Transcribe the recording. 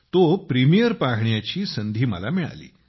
तो प्रीमियर पाहण्याची संधी मला मिळाली